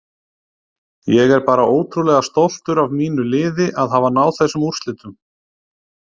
Ég er bara ótrúlega stoltur af mínu liði að hafa náð þessum úrslitum.